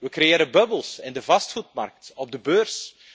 We creëren bubbels, in de vastgoedmarkt, op de beurs.